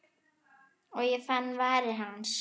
Og fann varir hans.